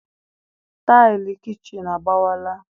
Taịlị kichin agbawala